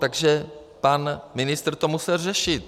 Takže pan ministr to musel řešit.